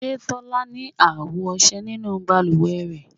Ṣe tola ni awo ọṣẹ ninu baluwe rẹ